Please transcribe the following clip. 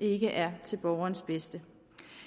ikke er til borgerens bedste